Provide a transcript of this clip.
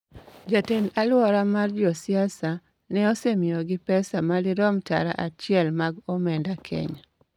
jatend-alwora mar Jo-Siasa ne osemiyogi pesa madirom tara achiel mag omenda Kenya.